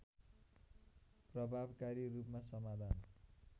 प्रभावकारी रूपमा समाधान